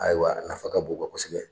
Ayiwa nafa ka bon u ka kosɛbɛ.